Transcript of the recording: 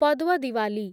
Padwa Diwali